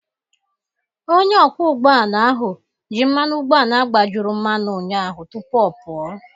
Onye ọkwọ ụgbọ ala ahụ ji mmanụ ụgbọala gbajuru mmanụ ụnyaahụ tupu ọ pụọ